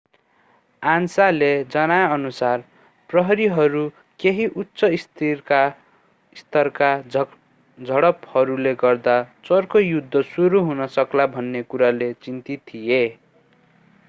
आन्साले जनाएअनुसार प्रहरीहहरू केही उच्च-स्तरका झडपहरूले गर्दा चर्को युद्ध सुरु हुन सक्ला भन्ने कुराले चिन्तित थिए